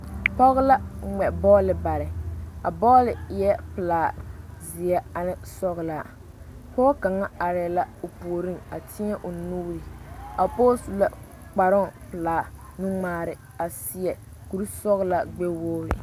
Nobɔ arɛɛŋ ka ba mine zeŋ teŋɛŋ ka ba mine be sempaare puoriŋ ka ba mine are ka kõɔŋ waara kyɛ ka sa wogre are are.